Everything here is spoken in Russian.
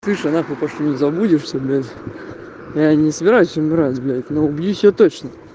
забудешься блядь я не собираюсь собираюсь умирать но убью себя